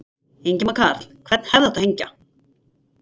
Ingimar Karl: Hvern hefði átt að hengja?